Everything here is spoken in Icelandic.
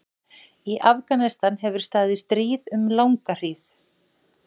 Í Afganistan hefur staðið stríð um langa hríð.